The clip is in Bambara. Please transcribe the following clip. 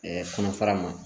kɔnɔfara ma